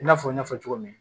I n'a fɔ n y'a fɔ cogo min